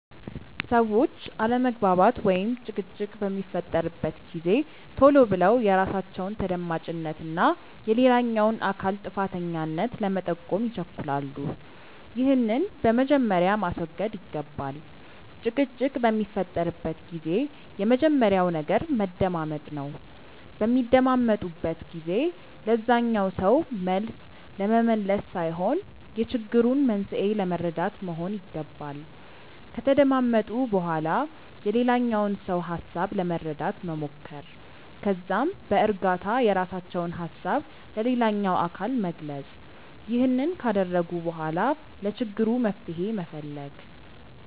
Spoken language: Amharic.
ሰዎች አለመግባባት ወይም ጭቅጭቅ በሚፈጠርበት ጊዜ ቶሎ ብለው የራሳቸውን ተደማጭነት እና የሌላኛውን አካል ጥፋተኛነት ለመጠቆም ይቸኩላሉ። ይህንን በመጀመሪያ ማስወገድ ይገባል። ጭቅጭቅ በሚፈጠርበት ጊዜ የመጀመሪያው ነገር መደማመጥ ነው። በሚደማመጡበት ጊዜ ለዛኛው ሰው መልስ ለመመለስ ሳይሆን የችግሩን መንስኤ ለመረዳት መሆን ይገባል። ከተደማመጡ በኋላ የሌላኛውን ሰው ሀሳብ ለመረዳት መሞከር። ከዛም በእርጋታ የራሳቸውን ሀሳብ ለሌላኛው አካል መግለጽ። ይህንን ካደረጉ በኋላ ለችግሩ መፍትሄ መፈለግ።